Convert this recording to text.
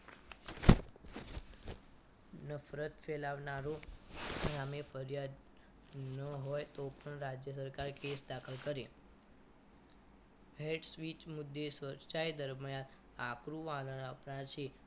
નફરત ફેલાવનારો સામે ફરિયાદ ન હોય તો પણ રાજ્ય સરકાર કેસ દાખલ કરે હેડ સ્વીચ મુદ્દે સ્વચ્છાયે દરમિયાન આપણું આધાર આપનાર છે